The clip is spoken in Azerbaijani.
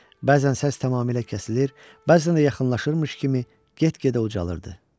Bəzən səs tamamilə kəsilir, bəzən də yaxınlaşırmış kimi get-gedə ucalırdı.